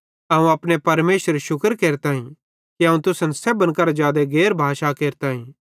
अवं अपने परमेशरेरू शुक्र केरताईं कि अवं तुसन सेब्भन करां जादे गैर भाषां केरताईं